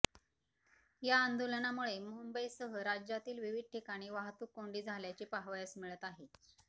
या आंदोलनामुळे मुंबईसह राज्यातील विविध ठिकाणी वाहतुककोंडी झाल्याचे पाहावयास मिळत आहे